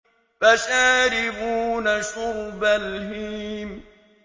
فَشَارِبُونَ شُرْبَ الْهِيمِ